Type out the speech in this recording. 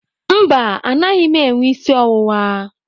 Mba, anaghị m enwe isi ọwụwa.